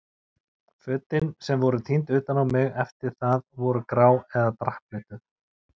Fötin sem voru tínd utan á mig eftir það voru grá eða drapplituð.